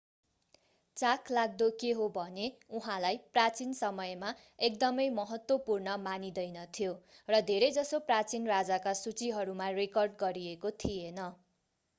चाखलाग्दो के हो भने उहाँलाई प्राचीन समयमा एकदमै महत्त्वपूर्ण मानिँदैनथ्यो र धेरैजसो प्राचीन राजाका सुचीहरूमा रेकर्ड गरिएको थिएन